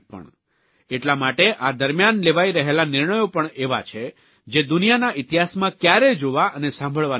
એટલા માટે આ દરમ્યાન લેવાઇ રહેલા નિર્ણયો પણ એવા છે જે દુનિયાના ઇતિહાસમાં કયારેય જોવા અને સાંભળવા ન મળ્યા હોય